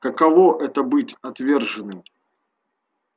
каково это быть отверженным